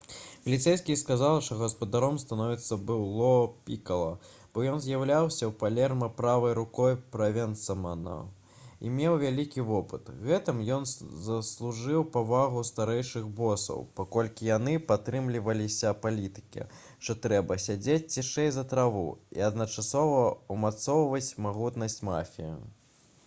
паліцэйскія сказалі што гаспадаром становішча быў ло пікала бо ён з'яўляўся ў палерма правай рукой правенцана і меў вялікі вопыт. гэтым ён заслужыў павагу старэйшых босаў паколькі яны прытрымліваліся палітыкі што трэба «сядзець цішэй за траву» і адначасова ўмацоўваць магутнасць мафіі